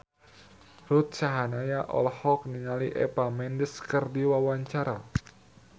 Ruth Sahanaya olohok ningali Eva Mendes keur diwawancara